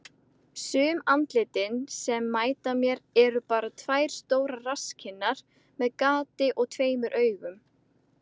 Sum andlitin sem mæta mér eru bara tvær stórar rasskinnar með gati og tveimur augum.